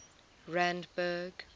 randburg